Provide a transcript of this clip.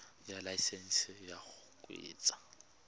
ya laesesnse ya go kgweetsa